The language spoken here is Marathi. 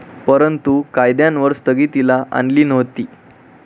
परंतु, कायद्यांवर स्थगितीली आणली नव्हती.